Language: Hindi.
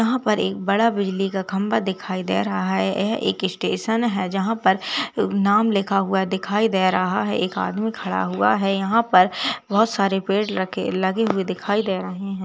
यहाँ पर एक बड़ा बिजली का खम्बा दिखाई दे रहा है। यह एक स्टेशन है जहां पर नाम लिखा हुआ दिखाई दे रहा है। एक आदमी खड़ा हुआ है। यहाँ पर बहोत सारे पेड़ लगे हुए दिखाई दे रहे हैं।